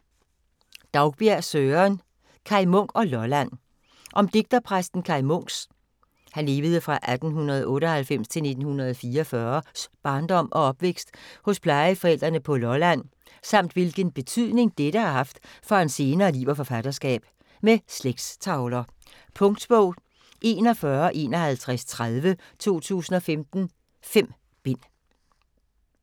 Daugbjerg, Søren: Kaj Munk og Lolland Om digterpræsten Kaj Munks (1898-1944) barndom og opvækst hos plejeforældrene på Lolland, samt hvilken betydning dette har haft for hans senere liv og forfatterskab. Med slægtstavler. Punktbog 415130 2015. 5 bind.